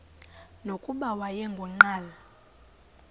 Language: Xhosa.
nokuba wayengu nqal